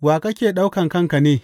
Wa kake ɗauka kanka ne?